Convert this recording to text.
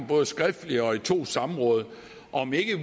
både skriftligt og i to samråd om vi ikke